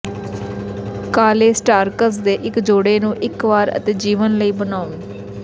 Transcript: ਕਾਲੇ ਸਟਾਰਕਸ ਦੇ ਇੱਕ ਜੋੜੇ ਨੂੰ ਇੱਕ ਵਾਰ ਅਤੇ ਜੀਵਨ ਲਈ ਬਣਾਉਣ